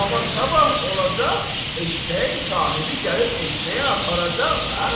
Amma sabah olacaq, eşşəyin sahibi gəlib eşşəyi aparacaq da.